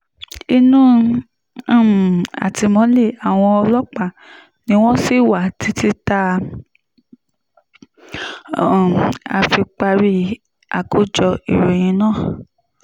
inú um àtìmọ́lé àwọn ọlọ́pàá ni wọ́n ṣì wà títí tá um a fi parí àkójọ ìròyìn yìí